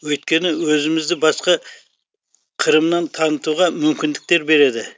өйткені өзімізді басқа қырымнан танытуға мүмкіндіктер береді